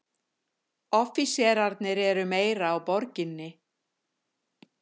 Offíserarnir eru meira á Borginni.